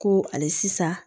Ko hali sisan